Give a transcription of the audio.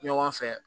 Ɲɔgɔn fɛ